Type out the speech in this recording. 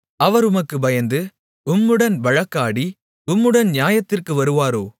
அவர் உமக்குப் பயந்து உம்முடன் வழக்காடி உம்முடன் நியாயத்திற்கு வருவாரோ